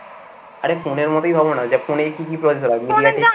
আরে phone এর মতোই ভাবো না যে phone এ কি কি processor আছে